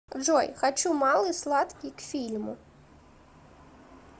джой хочу малый сладкий к фильму